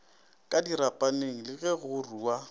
ka dirapaneng le go rua